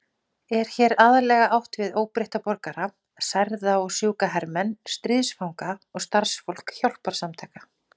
Er hér aðallega átt við óbreytta borgara, særða og sjúka hermenn, stríðsfanga og starfsfólk hjálparsamtaka.